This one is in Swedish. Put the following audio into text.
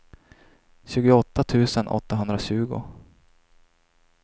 tjugoåtta tusen åttahundratjugo